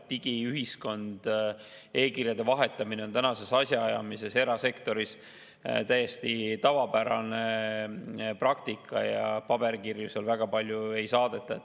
Digiühiskond, e‑kirjade vahetamine on tänases asjaajamises erasektoris täiesti tavapärane praktika ja paberkirju seal väga palju ei saadeta.